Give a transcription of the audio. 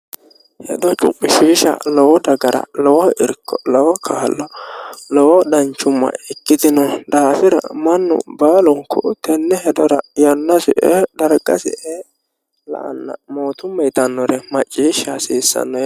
hedo chu'mishiisha lowo dagara lowo kaa'lo ikkitino daafira mannu baalunku tenne hedora yannasi ee dargasi ee la"anna moottumma yitannore maciishsha hasiissanno